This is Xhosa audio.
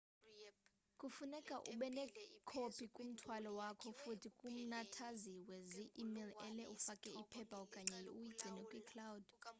funeke ubenekopi kumthwalo wakho futhi kumnathazwe zi-email-ele ufake iphepha okanye uyigcine kwi-"cloud"